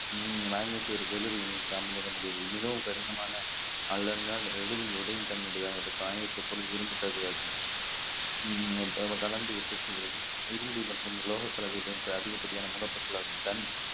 மிகவும் கடினமான அல்லது எளிதில் உடையும் தன்மை உடையதாக இருக்கும் காயத்தை எப்பொழுதும் இரும்பு கலந்து உற்பத்தி செய்கிறது இரும்பு மற்றும் லோக கலந்திருக்கிற அதிகப்படியான மூலப்பொருட்களாகவும்தான்